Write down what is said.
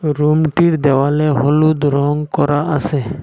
রুমটির দেওয়ালে হলুদ রং করা আসে।